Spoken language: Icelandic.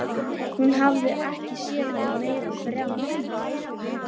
Hún hafði ekki séð hann í meira en þrjá mánuði.